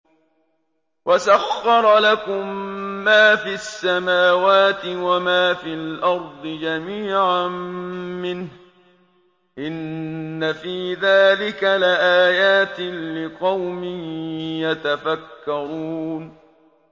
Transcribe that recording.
وَسَخَّرَ لَكُم مَّا فِي السَّمَاوَاتِ وَمَا فِي الْأَرْضِ جَمِيعًا مِّنْهُ ۚ إِنَّ فِي ذَٰلِكَ لَآيَاتٍ لِّقَوْمٍ يَتَفَكَّرُونَ